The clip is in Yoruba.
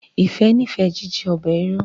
Ifẹ n'ifẹ jíjẹ ọbẹ ìrù